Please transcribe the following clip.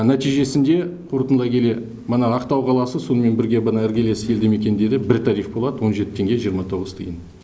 нәтижесінде қорытындылай келе мына ақтау қаласы сонымен бірге мына іргелес елді мекендері бір тариф болады он жеті теңге жиырма тоғыз тиын